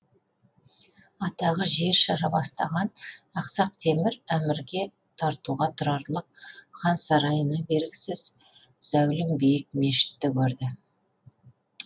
атағы жер жара бастаған ақсақ темір әмірге тартуға тұрарлық хан сарайына бергісіз зәулім биік мешітті көрді